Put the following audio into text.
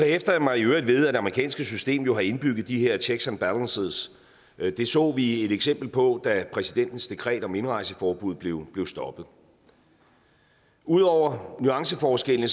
hæfter mig i øvrigt ved at det amerikanske system jo har indbygget de her checks and balances det så vi et eksempel på da præsidentens dekret om indrejseforbud blev stoppet ud over nuanceforskellene